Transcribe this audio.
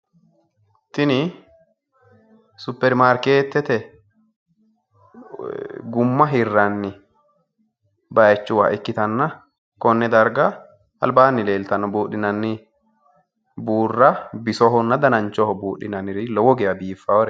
Tini supperimaarkeettete gumma hiranni bayiichuwa ikkitanna konne darga albaanni leeltanno buudhinanni buurra bisohonna danachoho buudhinanniri lowo geya biiffaateti.